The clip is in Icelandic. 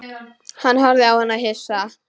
Hann horfði á hana hissa.